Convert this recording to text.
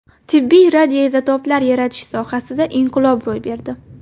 Tibbiy radioizotoplar yaratish sohasida inqilob ro‘y berdi.